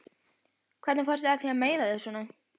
Hvernig fórstu að því að meiða þig svona?